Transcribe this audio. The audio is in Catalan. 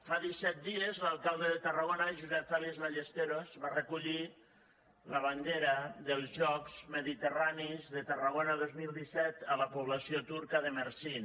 fa disset dies l’alcalde de tarragona josep fèlix ballesteros va recollir la bandera dels jocs mediterranis de tarragona dos mil disset a la població turca de mersin